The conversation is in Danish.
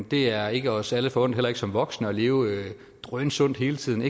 det er ikke os alle forundt heller ikke som voksne at leve drønsundt hele tiden i